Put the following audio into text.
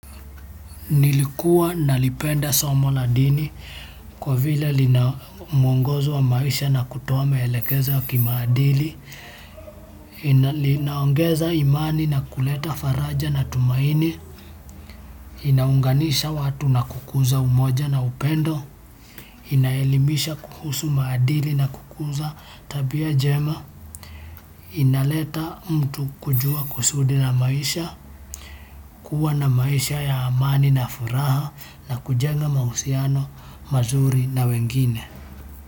Nilikuwa nalipenda somo la dini, kwa vile lina muongozo wa maisha na kutoa maelekeza ya kimaadili, inaongeza imani na kuleta faraja na tumaini, inaunganisha watu na kukuza umoja na upendo, inaelimisha kuhusu maadili na kukuza tabia njema, inaleta mtu kujua kusudi na maisha, kuwa na maisha ya amani na furaha na kujenga mahusiano, mazuri na wengine.